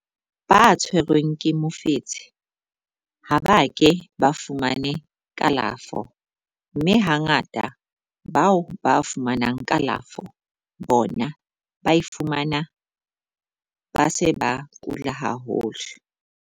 Ba tshwerweng ke mofetshe ha ba ke ba fumane kalafo, mme hangata bao ba fumanang kalafo bona ba e fumana ba se ba kula haholo.